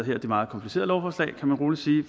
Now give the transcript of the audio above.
her meget komplicerede lovforslag kan man roligt sige